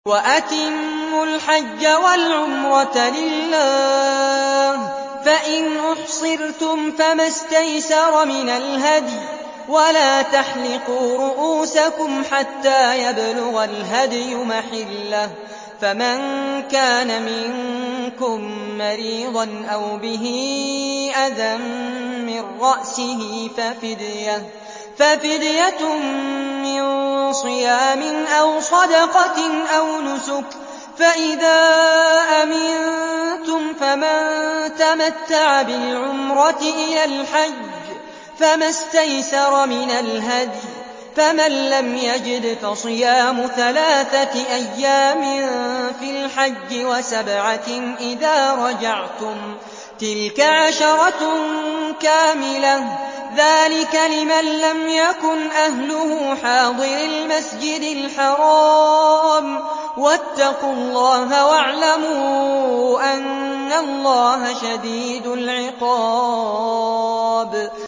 وَأَتِمُّوا الْحَجَّ وَالْعُمْرَةَ لِلَّهِ ۚ فَإِنْ أُحْصِرْتُمْ فَمَا اسْتَيْسَرَ مِنَ الْهَدْيِ ۖ وَلَا تَحْلِقُوا رُءُوسَكُمْ حَتَّىٰ يَبْلُغَ الْهَدْيُ مَحِلَّهُ ۚ فَمَن كَانَ مِنكُم مَّرِيضًا أَوْ بِهِ أَذًى مِّن رَّأْسِهِ فَفِدْيَةٌ مِّن صِيَامٍ أَوْ صَدَقَةٍ أَوْ نُسُكٍ ۚ فَإِذَا أَمِنتُمْ فَمَن تَمَتَّعَ بِالْعُمْرَةِ إِلَى الْحَجِّ فَمَا اسْتَيْسَرَ مِنَ الْهَدْيِ ۚ فَمَن لَّمْ يَجِدْ فَصِيَامُ ثَلَاثَةِ أَيَّامٍ فِي الْحَجِّ وَسَبْعَةٍ إِذَا رَجَعْتُمْ ۗ تِلْكَ عَشَرَةٌ كَامِلَةٌ ۗ ذَٰلِكَ لِمَن لَّمْ يَكُنْ أَهْلُهُ حَاضِرِي الْمَسْجِدِ الْحَرَامِ ۚ وَاتَّقُوا اللَّهَ وَاعْلَمُوا أَنَّ اللَّهَ شَدِيدُ الْعِقَابِ